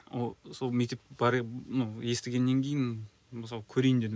естігеннен кейін мысалы көрейін дедім